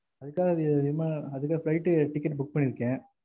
அதுக்கா விமான அதுக்கா flight ticket book பண்ணிருக்கேன்